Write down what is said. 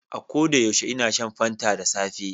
A koda yaushe ina shan fanta da safe